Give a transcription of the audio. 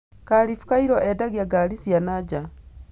Khalif Kairo endagia ngari cia na nja.